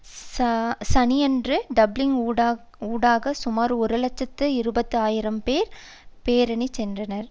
சனியன்று டப்ளின் ஊடாக சுமார் ஒரு இலட்சத்தி இருபது ஆயிரம் பேர் பேரணி சென்றனர்